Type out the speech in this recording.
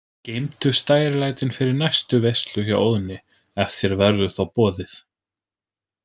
Geymdu stærilætin fyrir næstu veislu hjá Óðni, ef þér verður þá boðið.